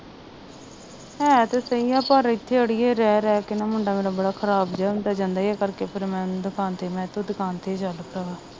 ਹੈ ਤੇ ਸਹੀ ਆ ਪਰ ਇੱਥੇ ਅੜੀਏ ਰਹਿ ਰਹਿ ਕ ਨਾ ਮੁੰਡਾ ਮੇਰਾ ਬੜਾ ਖਰਾਬ ਜਿਹਾ ਹੁੰਦਾ ਜਾਂਦਾ ਹੀ ਇਹ ਕਰਕੇ ਫਿਰ ਮੈਂ ਦੁਕਾਨ ਤੇ ਮੈਂ ਕਿਹਾ ਤੂੰ ਦੁਕਾਨ ਤੇ ਈ ਚੱਲ ਭਰਾਵਾ